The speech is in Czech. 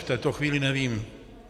V této chvíli nevím.